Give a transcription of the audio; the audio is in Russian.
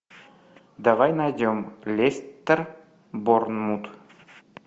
давай найдем лестер борнмут